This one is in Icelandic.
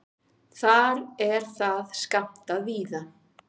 Þar er það skammtað víða.